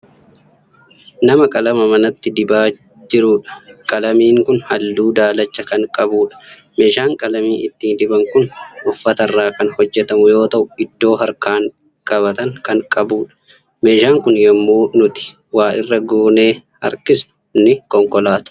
Nama qalama manatti dibaa jiruudha. qalamiin Kuni halluu daalacha Kan qabuudha. meeshaan qalamii ittiin diban Kuni uffatarraa Kan hojjatamu yoo ta'u iddoo harkaan qabatan Kan qabuudha. meeshaan Kuni yommuu nuti wa'irra goonee harkisnu ni konkolaata.